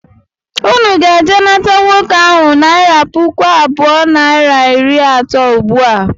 Ụnụ ga - eje nata agadị nwoke ahụ naira pụkụ abụọ naira iri atọ ụgbụa!!!!!!!